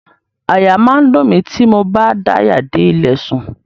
Àyà máa ń dùn mí tí mo bá daya dé ilẹ̀ sùn.